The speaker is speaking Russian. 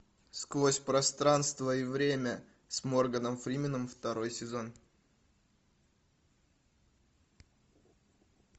сквозь пространство и время с морганом фрименом второй сезон